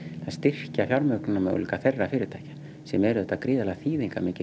að styrkja fjármögnunarmöguleika þeirra fyrirtækja sem er gríðarlega